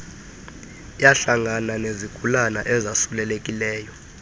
yahlangana nezigulana ezasulelekileyo